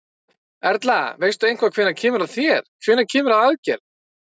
Erla: Veistu eitthvað hvenær kemur að þér, hvenær kemur að aðgerð?